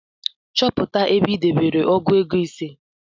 Chọpụta ebe i debere ọgụ ego ise